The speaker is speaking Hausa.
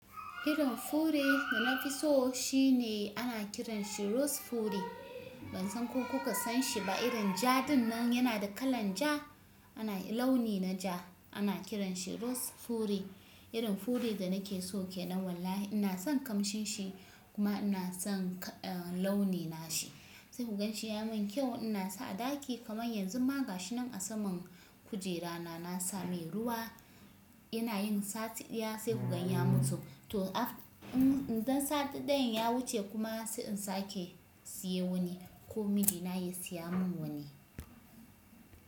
Irin fure da na fi so shine ana kiran shi "Rose fure". Ban san ko kuka san shi ba. Irin ja dinnan yana da kalan ja, ana launi na ja. Ana kiran shi "Rose fure". Irin fure da nake so ke nan wallahi. Ina son kamshin shi kuma ina son ka launi na shi. Sai ku gan shi ya mun kyau. Ina sa a ɗaki kamar yanzu ma ga shi nan a saman kujera na, na sa mai ruwa. Ina yin sati ɗaya sai ku gani ya mutu. To, dan sati ɗayan ya wuce kuma sai in sake siye wani ko mijina ya siya mun wani.